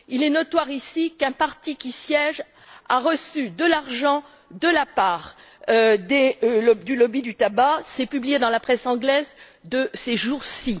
Il est notoire, ici, qu'un parti qui siège a reçu de l'argent de la part du lobby du tabac. C'est publié dans la presse anglaise de ces jours ci.